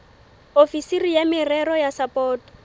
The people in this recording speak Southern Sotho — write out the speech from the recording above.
ofisiri ya merero ya sapoto